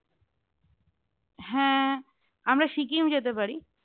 হ্যাঁ, আমরা সিকিম যেতে পারি